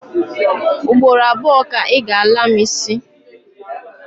Ugboro abuo ka I ga-ala mu isi